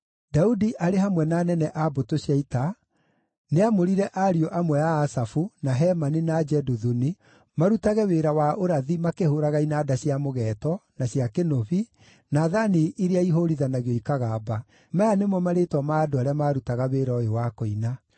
Daudi arĩ hamwe na anene a mbũtũ cia ita nĩamũrire ariũ amwe a Asafu, na Hemani, na Jeduthuni marutage wĩra wa ũrathi makĩhũũraga inanda cia mũgeeto, na cia kĩnũbi, na thaani iria ihũũrithanagio ikagamba. Maya nĩmo marĩĩtwa ma andũ arĩa maarutaga wĩra ũyũ wa kũina: